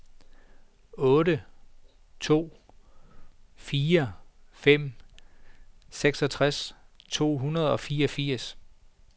to otte fire fem seksogtres to hundrede og fireogfirs